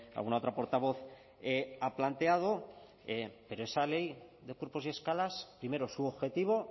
alguna otra portavoz ha planteado pero esa ley de cuerpos y escalas primero su objetivo